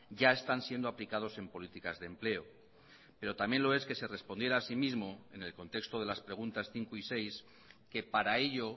ya están siendo aplicados en políticas de empleo pero también lo es que se respondiera así mismo en el contexto de las preguntas cinco y seis que para ello